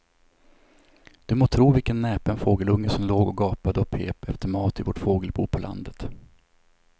Du må tro vilken näpen fågelunge som låg och gapade och pep efter mat i vårt fågelbo på landet.